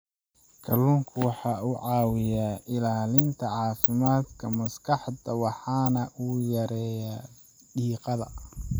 Kalluunku waxa uu caawiyaa ilaalinta caafimaadka maskaxda waxana uu yareeyaa diiqada.